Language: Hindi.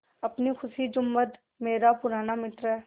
अपनी खुशी जुम्मन मेरा पुराना मित्र है